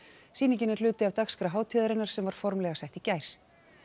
sýningin er hluti af dagskrá hátíðarinnar sem var formlega sett í gær